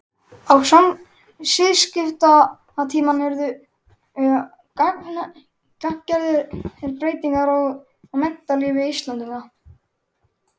Á siðskiptatímanum urðu gagngerðar breytingar á menntalífi Íslendinga.